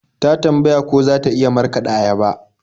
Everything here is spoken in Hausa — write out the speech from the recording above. Ta tambaya ko za ta iya markaɗa ayaba.